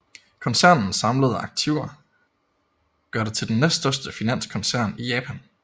Koncernens samlede aktiver gør det til den næststørste finanskoncern i Japan